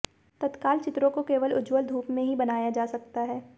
तत्काल चित्रों को केवल उज्ज्वल धूप में ही बनाया जा सकता है